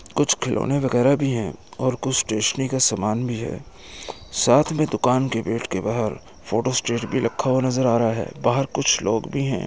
कुछ खिलौने वगैरह भी हैं और कुछ स्टेशनरी का समान भी है। साथ में दुकान के गेट के बाहर फोटो स्टेट भी रखा हुआ नजर आ रहा है। बाहर कुछ लोग भी हैं।